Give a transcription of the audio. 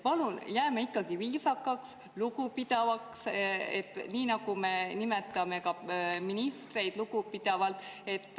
Palun, jääme ikkagi viisakaks, lugupidavaks, nii nagu me nimetame ka ministreid lugupidavalt.